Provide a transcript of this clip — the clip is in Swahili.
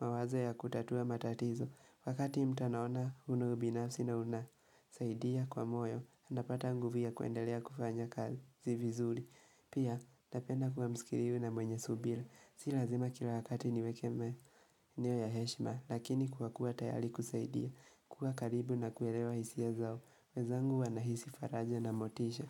mawazo ya kutatua matatizo wakati mtu anaona ule ubinafsi na unasaidia kwa moyo, napata nguvia kuendelea kufanya kazi si vizuri Pia, napenda kuwa mskirivu na mwenye subira si lazima kila wakati niwakemee niwe ya heshima Lakini kuwa kuwa tayari kusaidia kuwa karibu na kuelewa hisia zao wezangu wanahisi faraja na motisha.